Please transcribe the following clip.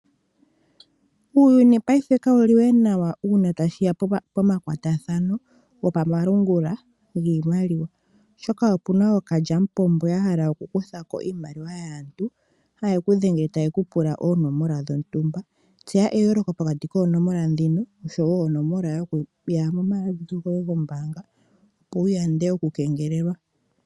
Uuyuni payife kawu liwe nawa uuna tashi ya pomakwatathano gopamalungula giimaliwa, oshoka opu na ookalyamupombo ya hala okukutha ko iimaliwa yaantu, haye ku dhengele taye ku pula oonomola dhontumba. Tseya eyooloko pokati koonomola ndhino osho wo yokomayalulilo goye gombaanga opo wu yande okukengelelwa.